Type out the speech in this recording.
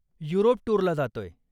Europe टूरला जातोय.